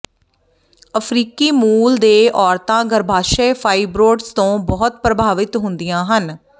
ਅਫ਼ਰੀਕੀ ਮੂਲ ਦੇ ਔਰਤਾਂ ਗਰੱਭਾਸ਼ਯ ਫਾਈਬ੍ਰੋਡਜ਼ ਤੋਂ ਬਹੁਤ ਪ੍ਰਭਾਵਿਤ ਹੁੰਦੀਆਂ ਹਨ